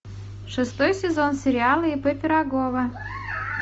шестой сезон сериала ип пирогова